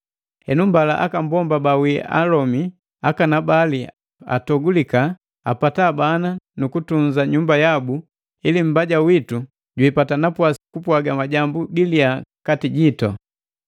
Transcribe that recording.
Henu mbala aka mbomba bawii akalomi akanabali atogulika, apata bana nukutunza nyumba yabu ili mbaja witu bipata napwasi kupwaga majambu giliya kati jitu.